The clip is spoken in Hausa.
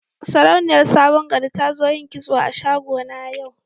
Sarauniyar sabon gari ta zo yin kitso a shago na yau.